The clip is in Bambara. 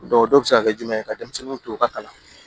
dɔw bɛ se ka kɛ jumɛn ye ka denmisɛnninw to u ka kalan